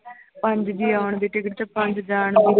ਪੰਜ ਜੀਅ ਆਉਣ ਦੇ ਤੇ ਪੰਜ ਜਾਣ ਦੇ